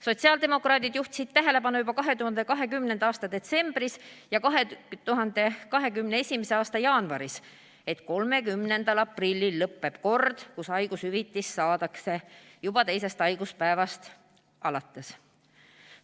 Sotsiaaldemokraadid juhtisid tähelepanu juba 2020. aasta detsembris ja 2021. aasta jaanuaris, et 30. aprillil lõppeb kord, kus haigushüvitist saadakse juba teisest haiguspäevast alates.